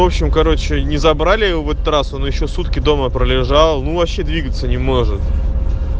в общем короче не забрали в этот раз он ещё сутки дома пролежал ну вообще двигаться не может